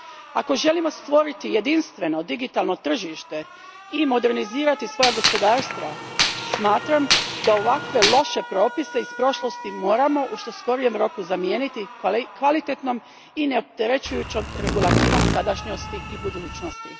Ako želimo stvoriti jedinstveno digitalno tržište i modernizirati svoja gospodarstva, smatram da ovakve loše propise iz prošlosti moramo u što skorijem roku zamijeniti kvalitetnom i neopterećujućom regulativom sadašnjosti i budućnosti.